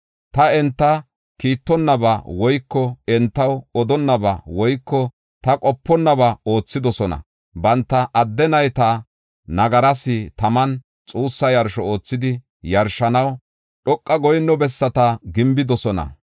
Ta enta kiittonaba woyko entaw odonnaba woyko ta qoponnaba oothidosona; banta adde nayta nagaras taman xuussa yarsho oothidi yarshanaw, dhoqa goyinno bessata gimbidosona.